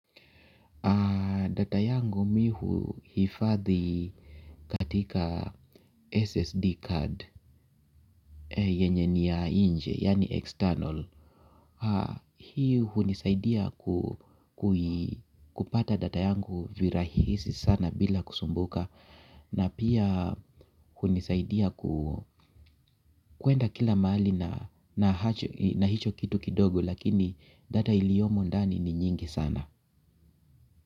Na data yangu mimi huhifadhi katika SSD card yenye ni ya nje, yaani external. Hii hunisaidia kupata data yangu virahisi sana bila kusumbuka. Na pia hunisaidia kwenda kila mahali na na hicho kitu kidogo lakini data iliyomo ndani ni nyingi sana.